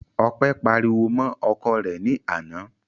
Ọpẹ́ pariwo mọ́ ọkọ rẹ̀ ní àná.